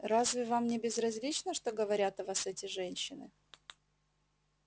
разве вам не безразлично что говорят о вас эти женщины